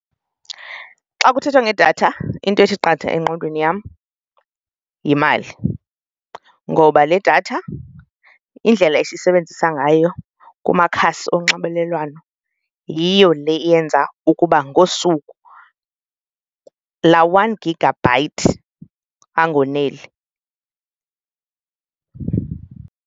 Xa kuthethwa ngedatha into ethi qatha engqondweni yam yimali ngoba le datha indlela esisebenzisa ngayo kumakhasi onxibelelwano yiyo le eyenza ukuba ngosuku laa one gigabyte ayoneli.